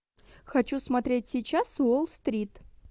хочу смотреть сейчас уолл стрит